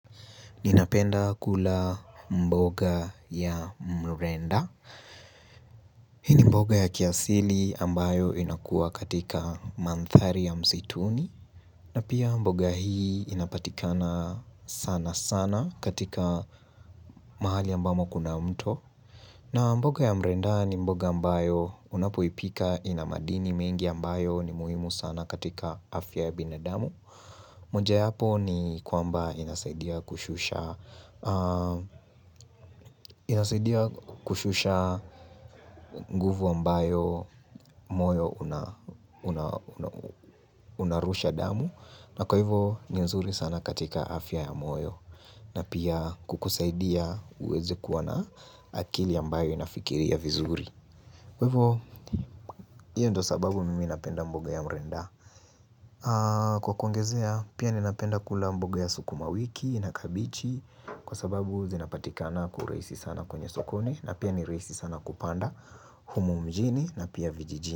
Ninapenda kula, mboga ya mrenda. Hii ni mboga ya kiasili ambayo inakua katika manthari ya msituni. Na pia mboga hii inapatikana, sana sana katika, mahali ambamo kuna mto. Na mboga ya mrenda ni mboga ambayo unapoipika ina madini mengi ambayo ni muhimu sana katika afya ya binadamu. Mojawapo ni kwamba inasaidia kushusha, nguvu ambayo, moyo unarusha damu na kwa hivyo, ni nzuri sana katika afya ya moyo na pia kukusaidia uweze kuwa na, akili ambayo inafikiria vizuri. Kwa hivyo hiyo ndio sababu mimi napenda mboga ya mrenda. Kwa kuongezea pia ninapenda kula mboga ya sukuma wiki na kabichi, Kwa sababu zinapatikana kwa urahisi sana kwenye sokoni na pia ni rahisi sana kupanda Humu mjini na pia vijijini.